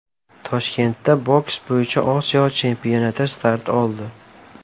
Toshkentda boks bo‘yicha Osiyo chempionati start oldi.